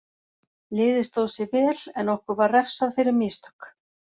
Liðið stóð sig vel en okkur var refsað fyrir mistök.